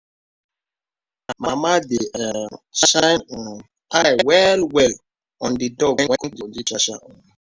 mama dey um shine um eye well-well on di dog when konji catch am.